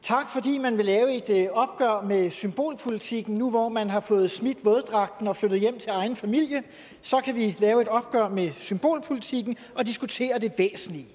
tak fordi man vil lave et opgør med symbolpolitikken nu hvor man har fået smidt våddragten og er flyttet hjem til egen familie kan vi lave et opgør med symbolpolitikken og diskutere det væsentlige